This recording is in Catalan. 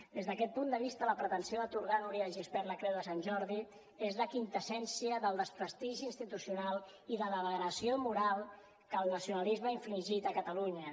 des d’aquest punt de vista la pretensió d’atorgar a núria de gispert la creu de sant jordi és la quinta essència del desprestigi institucional i de la degradació moral que el nacionalisme ha infligit a catalunya